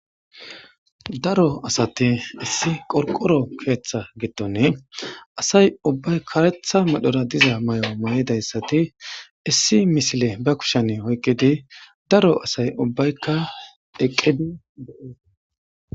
Daro asati issi qorqqoro keththa giddonii asay uubbay kareththa medhora diza mayo maayidaysatti issi misile ba kuushshen oyqidi daro asy uubbaykka eeqiddi de'iossonna